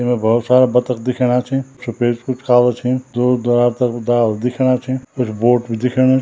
इने भोत सारा बतख दिखेणा छीं सपेद कुछ काला छीं दूर-दराज तक डाल दिखेणा छीं कुछ बोट भी दिखेणी।